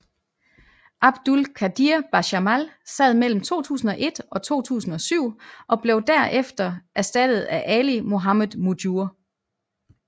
Abdul Qadir Bajamal sad mellem 2001 og 2007 og blev der efter erstattet af Ali Mohammed Mujur